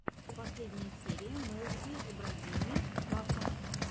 последняя серия мехди эбрагими вафа